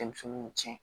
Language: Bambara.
Denmisɛnninw cɛn